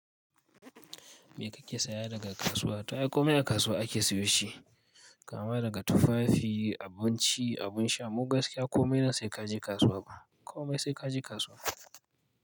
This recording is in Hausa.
Me kake saya daga kasuwa? Ta ai komai a kasuwa ake siyo shi? Kama daga tufafi, abinci, abin sha. Mu gaskiya komai nan sai kaje kasuwa. Komai sai kaje kasuwa.